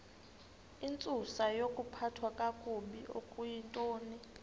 intsusayokuphathwa kakabi okuyintoni